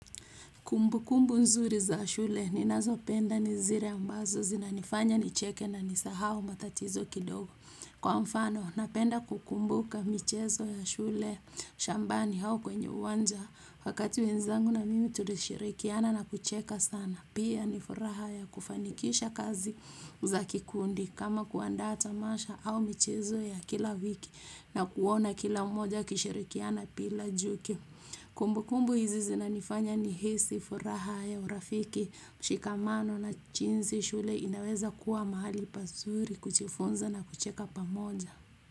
Kumbukumbu nzuri za shule, ninazopenda ni zile ambazo zinanifanya nicheke na nisahau matatizo kidogo. Kwa mfano, napenda kukumbuka michezo ya shule, shambani au kwenye uwanja, wakati wenzangu na mimi tulishirikiana na kucheka sana. Pia ni furaha ya kufanikisha kazi za kikundi kama kuandaa tamasha au michezo ya kila wiki na kuona kila moja akishirikiana bila chuki. Kumbukumbu hizi zinanifanya nihisi furaha ya urafiki, mshikamano na jinsi shule inaweza kuwa mahali pazuri kujifunza na kucheka pamoja.